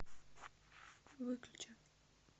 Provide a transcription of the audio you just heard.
выключи